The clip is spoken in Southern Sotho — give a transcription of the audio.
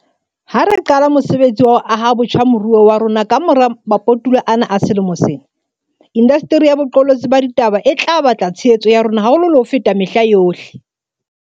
Ha re qala mosebetsi wa ho aha botjha moruo wa rona kamora maputula ana a sewa sena, indasteri ya boqolotsi ba ditaba e tla batla tshehetso ya rona haholo le ho feta mehla yohle.